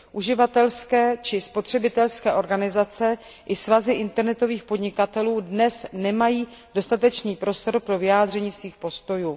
Uživatelské či spotřebitelské organizace i svazy internetových podnikatelů dnes nemají dostatečný prostor pro vyjádření svých postojů.